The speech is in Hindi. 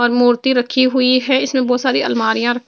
और मूर्ति रखी हुई है इसमें बहोत सारी अलमारियां र--